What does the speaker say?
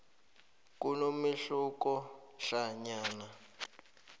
kunomehluko hlanyana